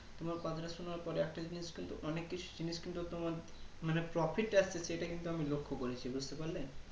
তোমার কথাটা সোনার পর একটা জিনিস কিন্তু অনেক কিছু জিনিস কিন্তু তোমার মানে Profit আছে সেটা কিন্তু আমি লক্ষ করেছি বুজতে পারলে